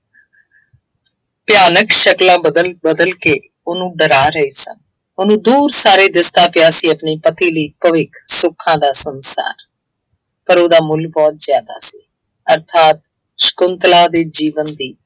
ਭਿਆਨਕ ਸ਼ਕਲਾਂ ਬਦਲ ਬਦਲ ਕੇ ਉਹਨੂੰ ਡਰਾ ਰਹੇ ਸਨ। ਉਹ ਦੂਰ ਸਾਰੇ ਦਿਸਦਾ ਪਿਆ ਸੀ, ਆਪਣੇ ਪਤੀ ਲਈ ਭਵਿੱਖ, ਸੁੱਖਾਂ ਦਾ ਸੰਸਾਰ ਪਰ ਉਹਦਾ ਮੁੱਲ ਬਹੁਤ ਜ਼ਿਆਦਾ ਸੀ। ਅਰਥਾਤ ਸ਼ੰਕੁਤਲਾ ਦੇ ਜੀਵਨ ਦੀ